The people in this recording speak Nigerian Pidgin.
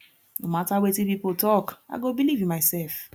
no mata wetin pipo tok i go believe in mysef